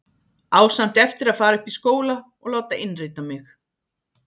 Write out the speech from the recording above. Á samt eftir að fara upp í skóla og láta innrita mig.